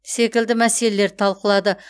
секілді мәселерді талқылады